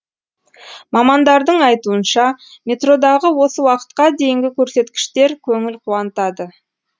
мамандардың айтуынша метродағы осы уақытқа дейінгі көрсеткіштер көңіл қуантады